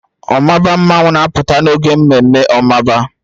Omaba mmanwu na-apụta n'oge ememme omaba